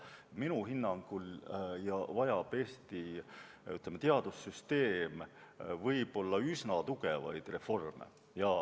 Minu hinnangul vajab Eesti teadussüsteem üsna tugevaid reforme.